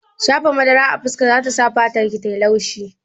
Shafa madara a fuska zata sa fatarki tayi laushi